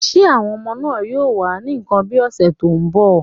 Will the children be around next week?